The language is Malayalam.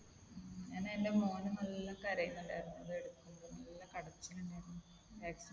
ഉം അങ്ങനെ എന്റെ മോനും നല്ല കരയുന്നുണ്ടായിരുന്നു. ഇത് എടുക്കുമ്പോൾ. നല്ല കരച്ചിൽ തന്നെയായിരുന്നു. vaccine എടുത്തപ്പോൾ.